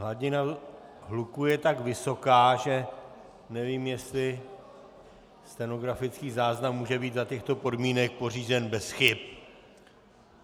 Hladina hluku je tak vysoká, že nevím, jestli stenografický záznam může být za těchto podmínek pořízen bez chyb.